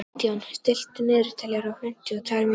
Gídeon, stilltu niðurteljara á fimmtíu og tvær mínútur.